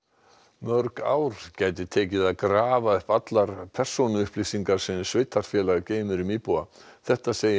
mörg ár gæti tekið að grafa upp allar persónuupplýsingar sem sveitarfélag geymir um íbúa þetta segir